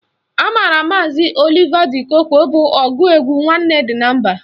A maara maazi Oliva di Kookwe bụ ọgụ egwu Nwanne dị na mba.